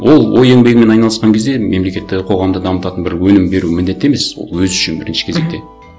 ол ой еңбегімен айналысқан кезде мемлекетті қоғамды дамытатын бір өнім беру міндетті емес ол өзі үшін бірінші кезекте